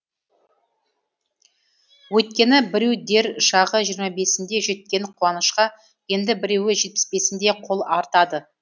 өйткені біреу дер шағы жиырма бесінде жеткен қуанышқа енді біреу жетпіс бесінде қол артады